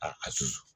A a susu